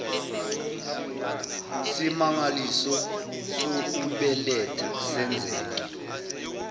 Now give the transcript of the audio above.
simangaliso sokubeletha senzeke